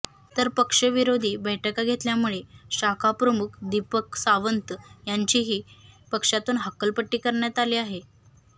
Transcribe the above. तर पक्षविरोधी बैठका घेतल्यामुळे शाखाप्रमुख दीपक सांवत यांचीही पक्षातून हकालपट्टी करणयात आली आहे